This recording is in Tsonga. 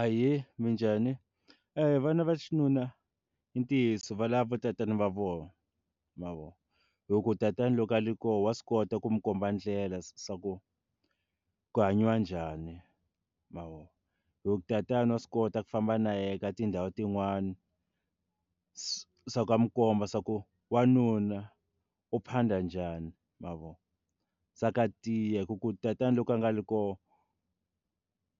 Ahee, minjhani? vana va xinuna i ntiyiso va lava va tatana va vona ma vo hi ku tatana loko a ri koho wa swi kota ku n'wi komba ndlela swa ku ku hanyiwa njhani ma vo hi ku tatana wa swi kota ku famba na yena ka tindhawu tin'wani swa ku a n'wi komba swa ku wanuna u phanda njhani ma vo swa ku a tiya ku ku tatana loko a nga le koho